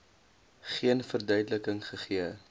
geen verduideliking gegee